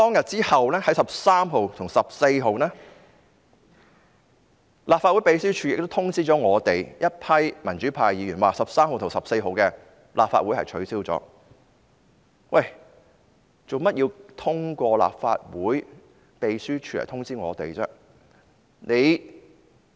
之後在13日和14日，立法會秘書處通知我們民主派議員 ，13 日和14日的立法會會議已經取消，為何要通過立法會秘書處通知我們呢？